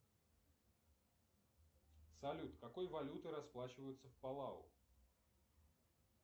салют какой валютой расплачиваются в палау